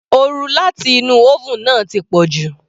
Oru láti inú oven náà ti pọ̀jù.